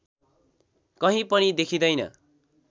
कहीं पनि देखिँदैन